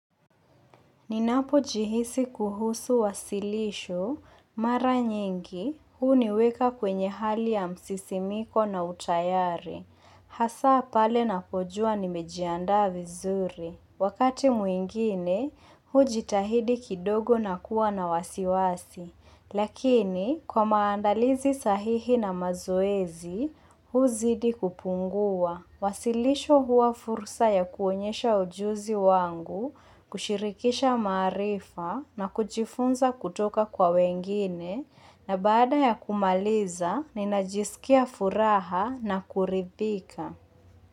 Ninapo jihisi kuhusu wasilisho, mara nyingi, huu niweka kwenye hali ya msisimiko na utayari. Hasa pale na pojua ni mejianda vizuri. Wakati mwingine, huu jitahidi kidogo na kuwa na wasiwasi. Lakini, kwa maandalizi sahihi na mazoezi, huu huzidi kupungua. Wasilisho huwa fursa ya kuonyesha ujuzi wangu, kushirikisha maarifa na kujifunza kutoka kwa wengine na baada ya kumaliza na inajisikia furaha na kuridhika.